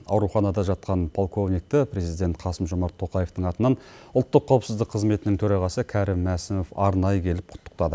ауруханада жатқан полковникті президент қасым жомарт тоқаевтың атынан ұлттық қауіпсіздік комитетінің төрағасы кәрім мәсімов арнайы келіп құттықтады